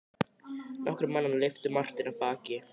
Nokkrir mannanna lyftu Marteini af baki.